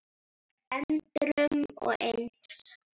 endrum og eins.